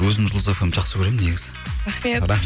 өзім жұлдыз фмді жақсы көремін негізі рахмет